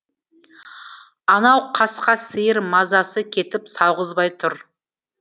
анау қасқа сиыр мазасы кетіп сауғызбай тұр